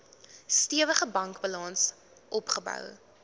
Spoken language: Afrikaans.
stewige bankbalans opgebou